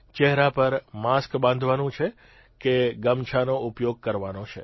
ચહેરા પર માસ્ક બાંધવાનું કે ગમછાનો ઉપયોગ કરવાનો છે